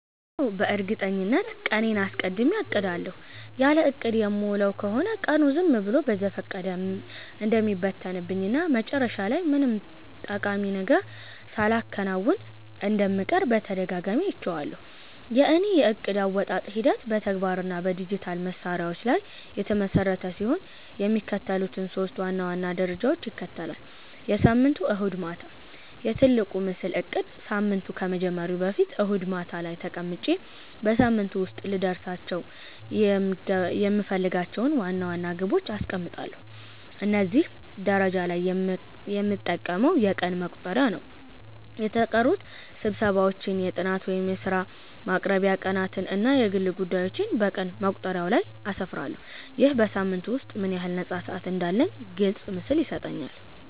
አዎ፣ በእርግጠኝነት ቀኔን አስቀድሜ አቅዳለሁ። ያለ እቅድ የምውል ከሆነ ቀኑ ዝም ብሎ በዘፈቀደ እንደሚበተንብኝ እና መጨረሻ ላይ ምንም ጠቃሚ ነገር ሳላከናውን እንደምቀር በተደጋጋሚ አይቼዋለሁ። የእኔ የዕቅድ አወጣጥ ሂደት በተግባር እና በዲጂታል መሣሪያዎች ላይ የተመሰረተ ሲሆን፣ የሚከተሉትን ሶስት ዋና ዋና ደረጃዎች ይከተላል፦ የሳምንቱ እሁድ ማታ፦ "የትልቁ ምስል" እቅድ ሳምንቱ ከመጀመሩ በፊት እሁድ ማታ ላይ ተቀምጬ በሳምንቱ ውስጥ ልደርስባቸው የምፈልጋቸውን ዋና ዋና ግቦች አስቀምጣለሁ። እዚህ ደረጃ ላይ የምጠቀመው የቀን መቁጠሪያ ነው። የተቀጠሩ ስብሰባዎችን፣ የጥናት ወይም የሥራ ማቅረቢያ ቀናትን እና የግል ጉዳዮቼን በቀን መቁጠሪያው ላይ አስፍራለሁ። ይህ በሳምንቱ ውስጥ ምን ያህል ነፃ ሰዓት እንዳለኝ ግልጽ ምስል ይሰጠኛል።